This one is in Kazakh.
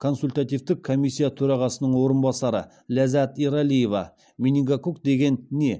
консультативтік комиссия төрағасының орынбасары ләззат ералиева менингококк деген не